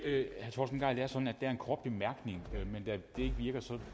jeg en kort bemærkning